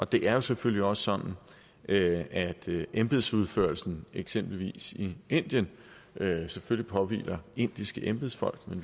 det er jo selvfølgelig også sådan at at embedsførelsen i eksempelvis indien selvfølgelig påhviler indiske embedsfolk men